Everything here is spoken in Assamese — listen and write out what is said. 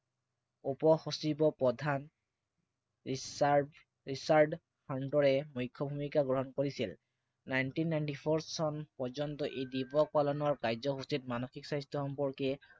উপ-সচিব প্ৰধান ৰিচাৰ্ড মুখ্য় ভূমিকা গ্ৰহণ কৰিছিল। Nineteen Ninety Four চন পৰ্যন্ত এই দিৱস পালনৰ কাৰ্যসূচীত মানসিক স্বাস্থ্য় সম্পৰ্কে